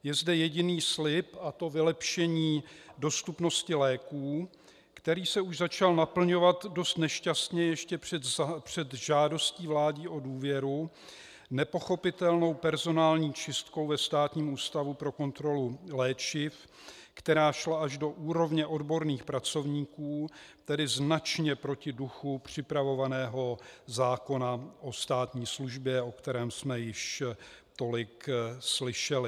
Je zde jediný slib, a to vylepšení dostupnosti léků, který se už začal naplňovat dost nešťastně ještě před žádostí vlády o důvěru nepochopitelnou personální čistkou ve Státním ústavu pro kontrolu léčiv, která šla až do úrovně odborných pracovníků, tedy značně proti duchu připravovaného zákona o státní službě, o kterém jsme již tolik slyšeli.